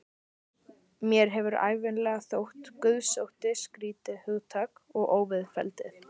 Mér hefur ævinlega þótt guðsótti skrýtið hugtak og óviðfelldið.